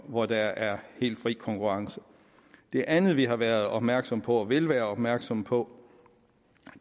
hvor der er helt fri konkurrence det andet vi har været opmærksomme på og vil være opmærksomme på